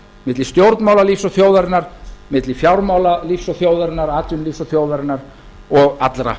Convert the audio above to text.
milli stjórnmálalífs og þjóðarinnar milli fjármálalífs og þjóðarinnar atvinnulífs og þjóðarinnar og allra